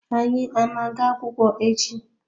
Anyi ana aga akwukwo echi?